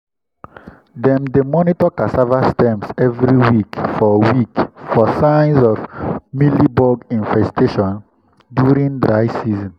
dem dey monitor cassava stems every week for week for signs of mealybug infestations during dry season.